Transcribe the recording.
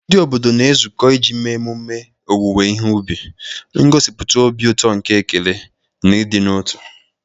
Ndị obodo na-ezukọ iji mee ememme owuwe ihe ubi, ngosipụta obi ụtọ nke ekele na ịdị n'otu.